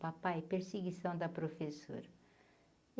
Papai, perseguição da professora.